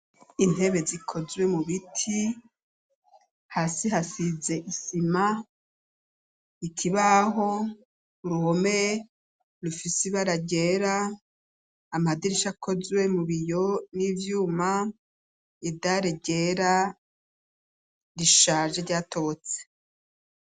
Intebe zikozwe mu biti; hasi hasize isima, ikibaho, uruhome rufise ibara ryera, amadirisha, akozwe mu biyo n'ivyuma; idare ryera, rishaje, ryatobotse.